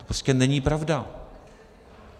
To prostě není pravda.